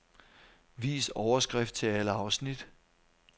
Vis overskrift til alle afsnit.